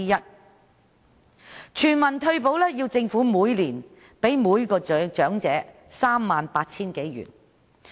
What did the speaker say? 在推行全民退休保障下，政府每年會向每名長者派發 38,000 多元。